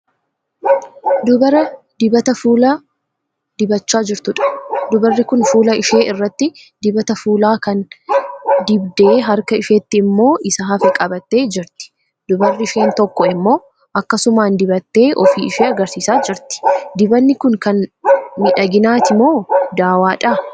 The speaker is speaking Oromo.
Dubara dibata fuulaa dibachaa jirtuudha. Dubarri kun fuula ishee irratti dibata fuulaa kana dibdee; harka isheetti immoo isa hafe qabattee jirti. Dubarri isheen tokko immoo akkasumaan dibattee ofii ishee agarsiisaa jirti. Dibanni kun kan miidhaginaati moo dawwaadha?